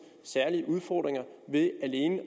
særlige udfordringer ved alene at